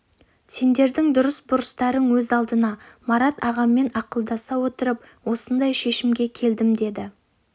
сендердің дұрыс-бұрыстарың өз алдына марат ағаммен ақылдаса отырып осындай шешімге келдім деді